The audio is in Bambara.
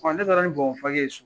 ne taara nin bɔnbɔn pake ye so.